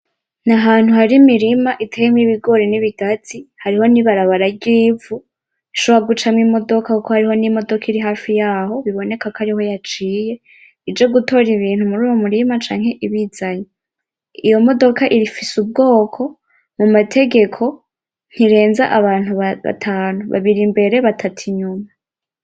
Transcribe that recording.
Nahantu hari imirima iteyemwo ibigori n'ibigazi hariho nibarabara ryivu rishobora gucamwo imodoka kuko hariho nimodoka iri hafi yaho biboneka ko ariho yaciye ije gutora ibintu muruyo murima canke ibizanye, iyo modoka ifise ubwoko mumategeko ntirenza abantu batanu babiri imbere batatu inyuma